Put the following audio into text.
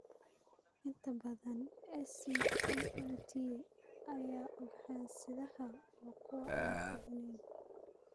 Inta badan SCTAT-yada ugxan-sidaha waa kuwo aan fiicneyn.